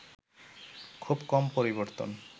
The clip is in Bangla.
খুব কম পরিবর্তন